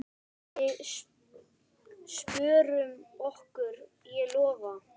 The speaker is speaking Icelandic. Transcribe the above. Við spjörum okkur, ég lofa.